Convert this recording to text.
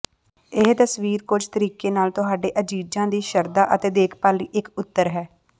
ਇਹ ਤਸਵੀਰ ਕੁਝ ਤਰੀਕੇ ਨਾਲ ਤੁਹਾਡੇ ਅਜ਼ੀਜ਼ਾਂ ਦੀ ਸ਼ਰਧਾ ਅਤੇ ਦੇਖਭਾਲ ਲਈ ਇੱਕ ਉਤਰ ਹੈ